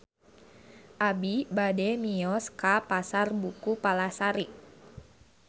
Abi bade mios ka Pasar Buku Palasari